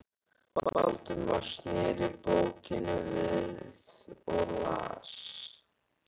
Valdimar sneri bókinni við og las